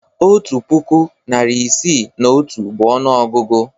Otu puku, narị isii na otu bụ ọnụọgụgụ.